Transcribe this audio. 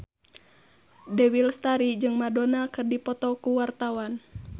Dewi Lestari jeung Madonna keur dipoto ku wartawan